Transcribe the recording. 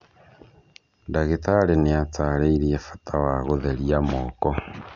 Ndagĩtarĩ nĩ aatarĩirie bata wa gũtheria moko.